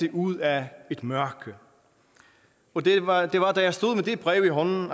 ud af et mørke og det var det var da jeg stod med det brev i hånden